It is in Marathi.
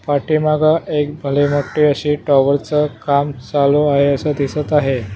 पाठीमागं एक भले मोठे अशे टॉवर च काम चालू आहे असं दिसत आहे.